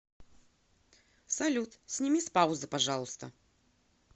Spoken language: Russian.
салют сними с паузы пожалуйста